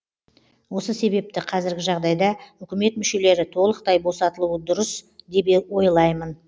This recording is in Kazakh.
осы себепті қазіргі жағдайда үкімет мүшелері толықтай босатылуы дұрыс деп ойлаймын